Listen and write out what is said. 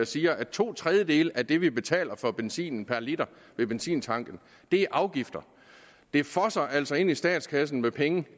siger at to tredjedele af det vi betaler for benzinen per liter ved benzintanken er afgifter det fosser altså ind i statskassen med penge